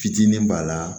Fitinin b'a la